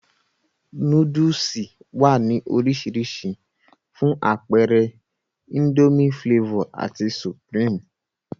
Nóódùsì wá ní orisirisi, fún apeere Indomie Flavor ati supreme